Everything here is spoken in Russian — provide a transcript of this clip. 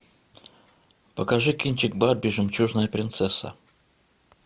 покажи кинчик барби жемчужная принцесса